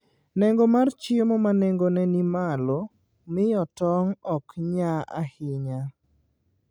Nengo mar chiemo ma nengone ni malo, miyo tong' ok nya ahinya.